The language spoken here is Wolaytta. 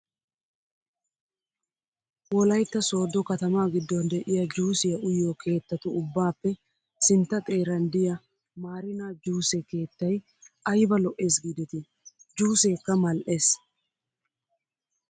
Wolayitta sooddo katamaa giddon de'iyaa juusiyaa uyiyoo keettatu ubbaape sintta xeeran diyaa maarina juuse keettayi ayba lo'es giidetii. juuseeka mal''es.